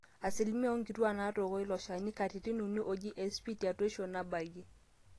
asilimia oonkituaak naatooko ilo shani katitin uni oji SP tetuaishu nabayie